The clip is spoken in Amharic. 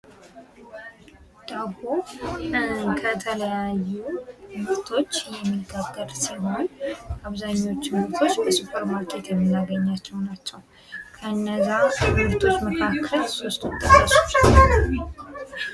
ዳቦ ከተለያዩ ምርቶች የሚጋገር ሲሆን አብዛኞቹን ምርቶች በሱፐርማርኬት የምናገኛቸዉ ናቸዉ። ከእነዚያ ምርቶች መካከል ሦስቱን ጥቀሱ?